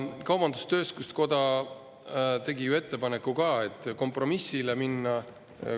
Kaubandus-tööstuskoda tegi ju ka kompromissettepaneku.